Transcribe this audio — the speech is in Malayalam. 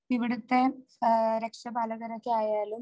ഇവിടുത്തെ ഏഹ് രക്ഷപാലകരൊക്കെ ആയാലും